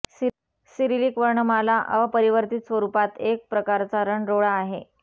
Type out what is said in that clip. Cyrillic वर्णमाला अपरिवर्तित स्वरूपात एक प्रकारचा रन रोडा आहे